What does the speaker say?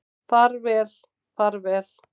Far vel far vel.